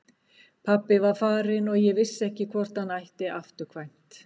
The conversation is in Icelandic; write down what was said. Pabbi var farinn og ég vissi ekki hvort hann ætti afturkvæmt.